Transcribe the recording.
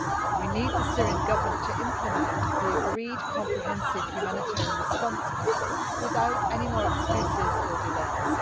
We need the Syrian Government to implement the agreed comprehensive humanitarian response plan without any more excuses or delays.